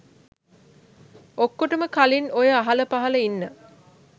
ඔක්කොටම කලින් ඔය අහලපහල ඉන්න